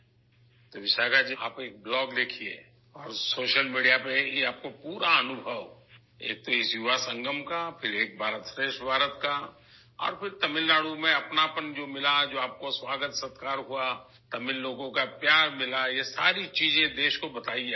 تو وشاکھا جی، آپ ایک بلاگ لکھیں اور سوشل میڈیا پر اس یووا سنگم کا پورا تجربہ شیئر کریں، پھر 'ایک بھارتشریشٹھ بھارت' کا اور پھر تمل ناڈو میں آپ کو جو اپنا پن ملا ، آپ کا استقبال اور مہمان نوازی ہوئی ، تمل لوگوں کا پیار ملا، یہ سب باتیں ملک کو بتائیں